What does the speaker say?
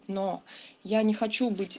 но я не хочу быть